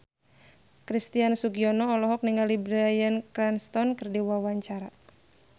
Christian Sugiono olohok ningali Bryan Cranston keur diwawancara